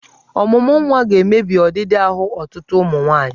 Ọmụmụnwa ga-emebi ọdịdị ahụ ọtụtụ ụmụ nwaanyị.